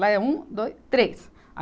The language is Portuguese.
Lá é um, dois, três